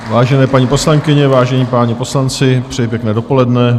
Vážené paní poslankyně, vážení páni poslanci, přeji pěkné dopoledne.